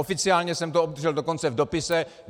Oficiálně jsem to obdržel dokonce v dopise.